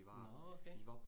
Nåh okay